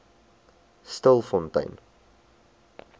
stilfontein